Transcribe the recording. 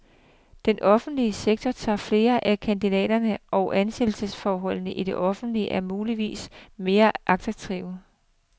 Den offentlige sektor tager flere af kandidaterne, og ansættelsesforholdene i det offentlige er muligvis mere attraktive.